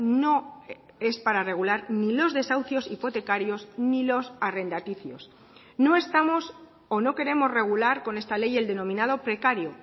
no es para regular ni los desahucios hipotecarios ni los arrendaticios no estamos o no queremos regular con esta ley el denominado precario